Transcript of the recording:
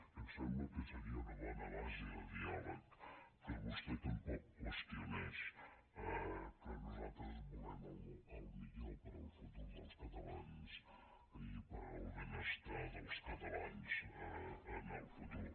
i em sembla que seria una bona base de diàleg que vostè tampoc qüestionés que nosaltres volem el millor per al futur dels catalans i per al benestar dels catalans en el futur